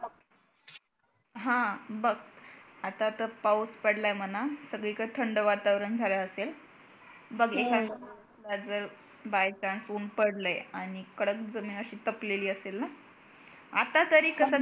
हा बघ आता तर पाऊस पडलाय म्हणा सगळीकडे थंड वातावरण झालं असेल बघ एखाद्या वेळेला जर by chance ऊन पडलंय आणि कडक जमीन अशी तपलेली असेल ना आता तरी